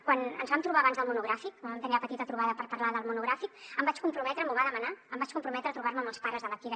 quan ens vam trobar abans del monogràfic quan vam tenir la petita trobada per parlar del monogràfic em vaig comprometre m’ho va demanar a trobar me amb els pares de la kira